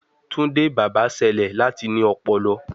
Tunde baba ṣẹlẹ lati ní ọpọlọ